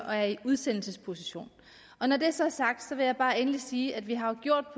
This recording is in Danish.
og er i en udsendelsesposition når det så er sagt vil jeg bare sige at vi har gjort